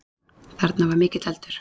Þarna var mikill eldur